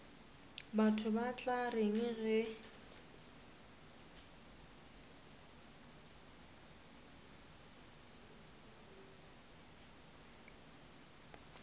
batho ba tla reng ge